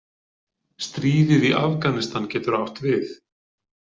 Stríðið í Afganistan getur átt við.